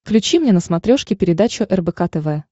включи мне на смотрешке передачу рбк тв